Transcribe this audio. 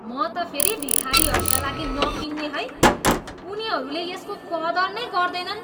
म त फेरि भिखारीहरूका लागि नकिन्ने है। उनीहरूले यसको कदर नै गर्दैनन्।